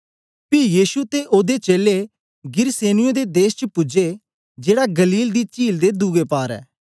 पी यीशु ते ओदे चेलें गिरसेनियों दे देश च पूजे जेड़ा गलील दी चील दे दूऐ पार ऐ